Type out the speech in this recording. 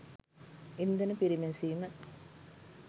ඉන්ධන පිරිමැසීම